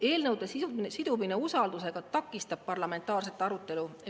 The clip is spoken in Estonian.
Eelnõude sidumine usaldusega takistab parlamentaarset arutelu.